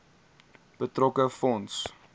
betrokke fonds